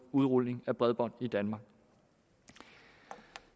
udrulning af bredbånd i danmark